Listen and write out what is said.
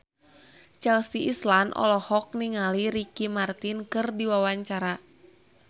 Chelsea Islan olohok ningali Ricky Martin keur diwawancara